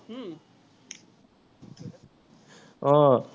আহ